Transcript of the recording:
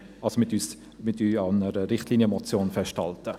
Dort halten wir an einer Richtlinienmotion fest.